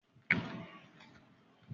Bọ́lá ni aṣojú kílàsì wà.